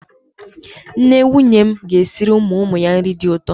Nne nwunye m ga-esiri ụmụ ụmụ ya nri dị ụtọ.